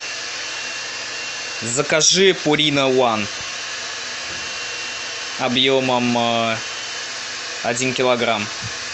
закажи пурина ван объемом один килограмм